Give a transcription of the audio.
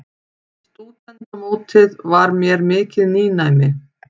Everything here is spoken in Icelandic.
Stúdentamótið var mér mikið nýnæmi.